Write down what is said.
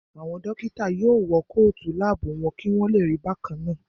Àwọn dókítà náà yóò wọ kóòtù láàbù wọn kí wọ́n lè rí bákannáà